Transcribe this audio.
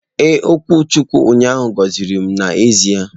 Ee, okwuchukwu ụnyaahụ gọziri m n'ezie.